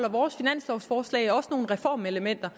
at vores finanslovforslag også indeholder nogle reformelementer